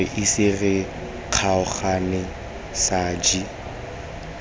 re ise re kgaogane saji